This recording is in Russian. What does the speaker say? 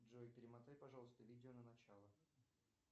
джой перемотай пожалуйста видео на начало